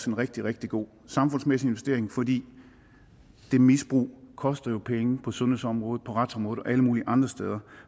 en rigtig rigtig god samfundsmæssig investering fordi det misbrug jo koster penge på sundhedsområdet på retsområdet og alle mulige andre steder og